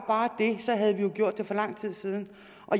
det havde vi jo gjort det for lang tid siden